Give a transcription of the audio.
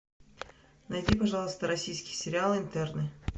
найди пожалуйста российский сериал интерны